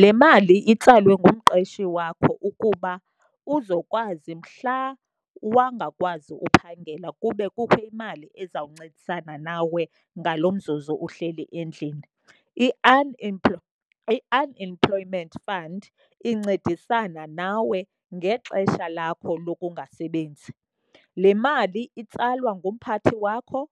Le mali itsalwe ngumqeshi wakho ukuba uzokwazi mhla wangakwazi uphangela kube kukho imali ezawuncedisana nawe ngalo mzuzu uhleli endlini. IUnemployment Fund incedisana nawe ngexesha lakho lokungasebenzi. Le mali itsalwa ngumphathi wakho